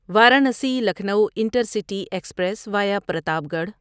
Varanasi Lucknow intercity express via Pratapgarh